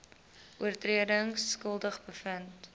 oortredings skuldig bevind